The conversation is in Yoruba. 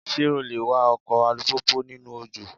Ṣé o le wa ọkọ̀ alùpùpù nínú òjò?